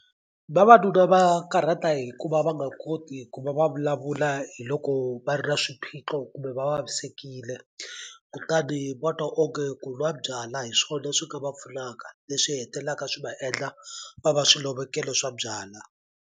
Vavanuna va karhata hi ku va va nga koti ku va va vulavula hi loko va ri na swiphiqo kumbe va vavisekile kutani va twa onge ku n'wa byalwa hi swona swi nga va pfunaka leswi hetelaka swi va endla va va swilovekelo swa byalwa.